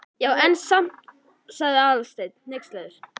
Já, en samt sagði Aðalsteinn hneykslaður.